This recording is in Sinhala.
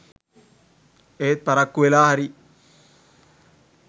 එත් පරක්කු වෙලා හරි